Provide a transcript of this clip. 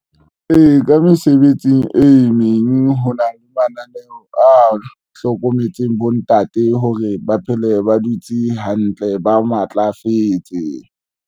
Ee, ka mesebetsing e meng, ho na le mananeo a hlokometseng bontate hore ba phele ba dutse hantle ba matlafetse.